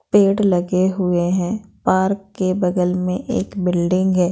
पेड़ लगे हुए हैं पार्क के बगल में एक बिल्डिंग है।